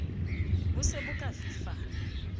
bo se bo ka fifala